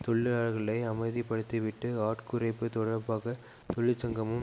தொழிலாளர்களை அமைதிப்படுத்திவிட்டு ஆட்குறைப்பு தொடர்பாக தொழிற்சங்கமும்